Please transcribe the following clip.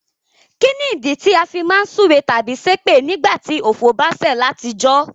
Kínìdí ti a fi má n súre tábí sépè nígbàtí ọ̀fọ̀ ba sẹ̀ látijọ́?